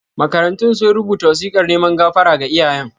Makarantun sun rubuta wasikar neman gafara ga iyayen.